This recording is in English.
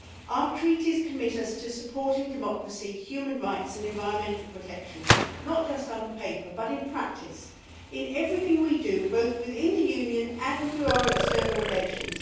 Our Treaties commit us to supporting democracy, human rights and environmental protection not just on paper, but in practice in everything we do, both within the Union and through our external relations.